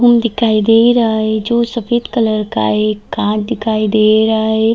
दिखाई दे रहा है जो सफ़ेद कलर का है एक कार दिखाई दे रहा है।